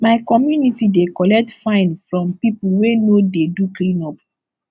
my community dey collect fine from pipo wey no dey do cleanup